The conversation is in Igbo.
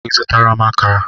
Ị zụtara m akara?